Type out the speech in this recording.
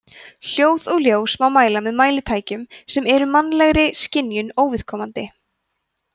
hljóð og ljós má mæla með mælitækjum sem eru mannlegri skynjun óviðkomandi